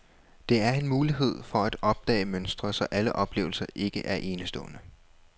Det er en mulighed for at opdage mønstre, så alle oplevelser ikke er enestående.